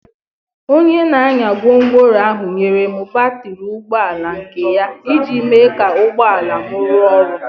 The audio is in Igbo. Onye na-anya gwongworo ahụ nyere m batrị ụgbọ ala nke ya iji mee ka ụgbọ ala m ruwa oru.